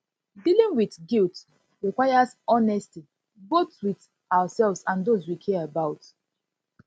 dealing with dealing with guilt requires honesty both with ourselves and those wey we care about